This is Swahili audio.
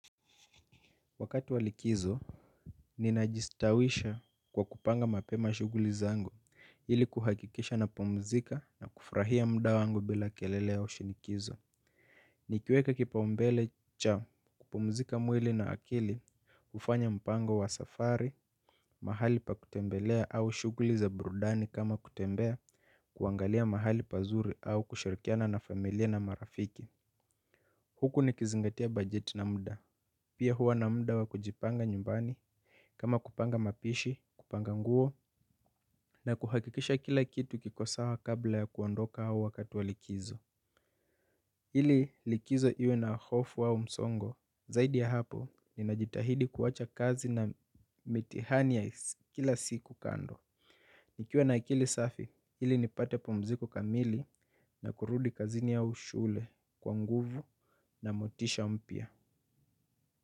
Wakati wa likizo, ninajistawisha kwa kupanga mapema shughuli zangu, ili kuhakikisha napumzika na kufurahia muda wangu bila kelele au shinikizo. Nikiweka kipaumbele cha, kupumzika mwili na akili, hufanya mpango wa safari, mahali pa kutembelea au shughuli za burudani kama kutembea, kuangalia mahali pazuri au kushirikiana na familia na marafiki. Huku nikizingatia bajeti na muda, pia huwa na muda wa kujipanga nyumbani. Kama kupanga mapishi, kupanga nguo na kuhakikisha kila kitu kiko sawa kabla ya kuondoka au wakati wa likizo. Ili likizo iwe na hofu au msongo, zaidi ya hapo ninajitahidi kuacha kazi na mitihani ya kila siku kando. Nikiwa na akili safi, ili nipate pumziko kamili na kurudi kazini au shule kwa nguvu na motisha mpya.